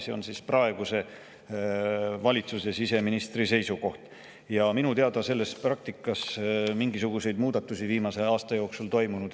See on praeguse valitsuse siseministri seisukoht ja minu teada ei ole selles praktikas viimase aasta jooksul mingisuguseid muudatusi toimunud.